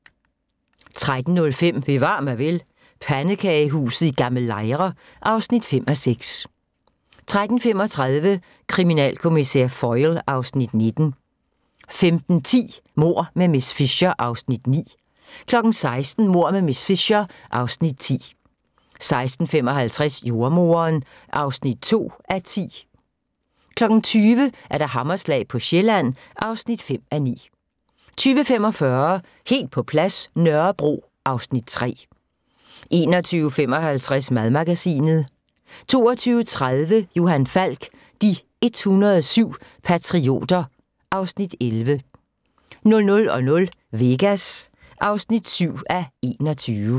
13:05: Bevar mig vel: Pandekagehuset i Gl. Lejre (5:6) 13:35: Kriminalkommissær Foyle (Afs. 19) 15:10: Mord med miss Fisher (Afs. 9) 16:00: Mord med miss Fisher (Afs. 10) 16:55: Jordemoderen (2:10) 20:00: Hammerslag på Sjælland (5:9) 20:45: Helt på plads – Nørrebro (Afs. 3) 21:55: Madmagasinet 22:30: Johan Falk: De 107 patrioter (Afs. 11) 00:00: Vegas (7:21)